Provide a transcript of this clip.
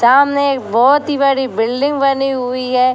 सामने बहोत ही बड़ी बिल्डिंग बनी हुई है।